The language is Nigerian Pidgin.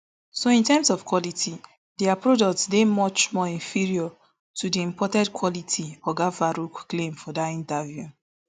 so in terms of quality dia product dey much more inferior to di imported quality oga farouk claim for dat interview